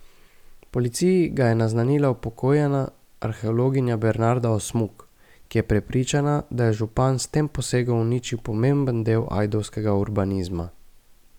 Policiji ga je naznanila upokojena arheologinja Bernarda Osmuk, ki je prepričana, da je župan s tem posegom uničil pomemben del ajdovskega urbanizma.